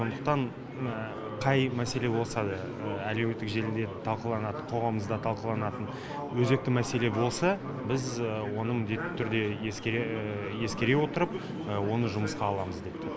сондықтан қай мәселе болса да әлеуеттік желіде талқыланады қоғамымызда талқыланатын өзекті мәселе болса біз оны міндетті түрде ескере отырып оны жұмысқа аламыз депті